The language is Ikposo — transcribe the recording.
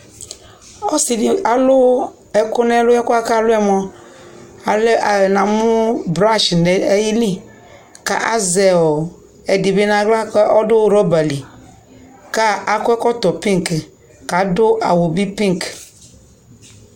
ɔsi di alu ɛko no ɛlu ɛkoɛ ko alu yɛ moa na mo brush no ayi li ko azɛ ɛdi bi no ala ko ɔdo roba li ko akɔ ɔkɔtɔ pink ko ado awu bi pink